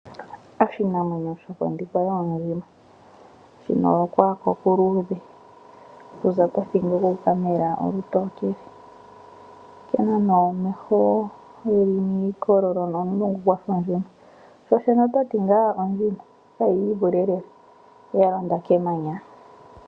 Oshinamwenyo shokondhikwa yoondjima, shina okwaako okuluudhe okuza pothingo okuuka mela olutokele. Okena nee omeho geli miikololo nomulungu gwafa ondjima shoshene ototi ngaa ondjima kayiivule lela yalonda kemanya.